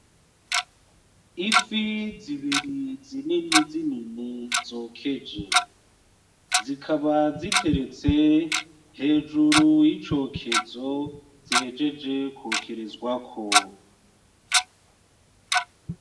Ifi zibiri zinini zinini zokeje. Zikaba ziteretse hejuru yicokezo zihejeje kwokerezwako.